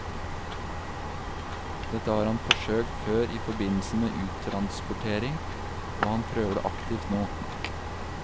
Dette har han forsøkt før i forbindelse med uttransportering, og han prøver det aktivt nå.